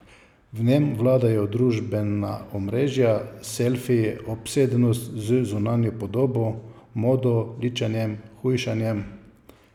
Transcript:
V njem vladajo družbena omrežja, selfiji, obsedenost z zunanjo podobo, modo, ličenjem, hujšanjem ...